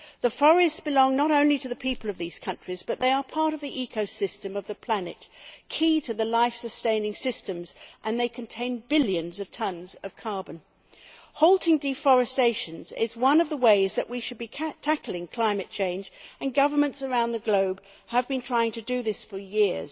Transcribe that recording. The forests belong not only to the people of these countries but they are part of the ecosystem of the planet, they are key to the life sustaining systems and they contain billions of tonnes of carbon. Halting deforestation is one of the ways that we should be tackling climate change, and governments around the globe have been trying to do this for years.